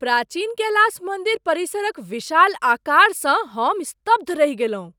प्राचीन कैलास मन्दिर परिसरक विशाल आकारसँ हम स्तब्ध रहि गेलहुँ।